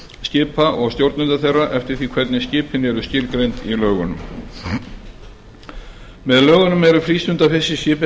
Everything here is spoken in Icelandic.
skipa og stjórnenda þeirra eftir því hvernig skipin eru skilgreind í lögunum með lögunum eru frístundafiskiskip